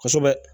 Kosɛbɛ